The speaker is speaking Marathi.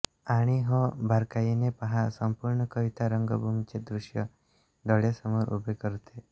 आणि हो बारकाईने पहा संपूर्ण कविता रंगभूमीचे दृश्य डोळ्यांसमोर उभे करते